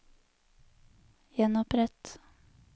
gjenopprett